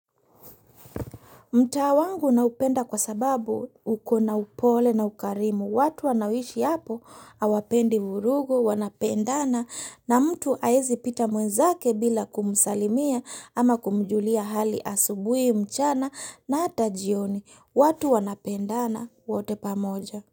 Mtaa wangu naupenda kwa sababu ukona upole na ukarimu, watu wanaoishi hapo hawapendi vurugu, wanapendana na mtu haezi pita mwenzake bila kumusalimia ama kumujulia hali asubuhi mchana na hata jioni, watu wanapendana wote pamoja.